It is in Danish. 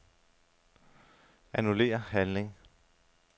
Annullér handling.